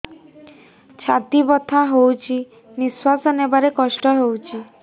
ଛାତି ବଥା ହଉଚି ନିଶ୍ୱାସ ନେବାରେ କଷ୍ଟ ହଉଚି